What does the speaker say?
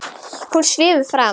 Hún svífur fram.